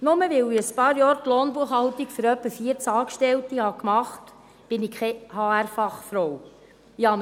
Nur weil ich ein paar Jahre die Lohnbuchhaltung für ungefähr 14 Angestellte gemacht habe, bin ich keine Fachfrau für Human Resources (HR).